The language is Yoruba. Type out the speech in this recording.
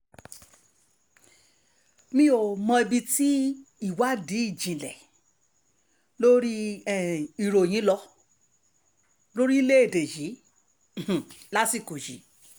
mi ò mọ ibi tí ìwádìí ìjìnlẹ̀ lórí um ìròyìn lọ lórílẹ̀‐èdè yìí um lásìkò yìí